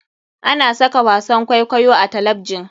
Ana saka wasan kwaikwayo a talabjin.